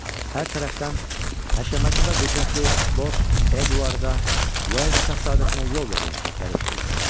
Hər tərəfdən həşəmətli və qüdrətli Lord Eduarda, Wales şahzadəsinə yol verin səsləri eşidildi.